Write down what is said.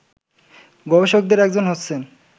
গবেষকদের একজন হচ্ছেন